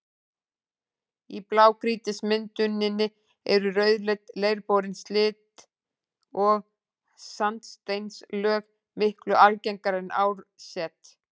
Í blágrýtismynduninni eru rauðleit, leirborin silt- og sandsteinslög miklu algengari en árset.